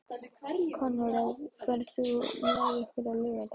Konráð, ferð þú með okkur á laugardaginn?